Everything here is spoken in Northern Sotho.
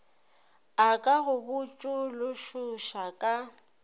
a ka go botšološoša ka